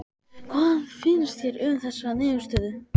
Hvað finnst þér um þessa niðurstöðu?